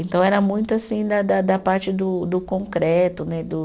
Então, era muito, assim, da da da da parte do do concreto, né? Do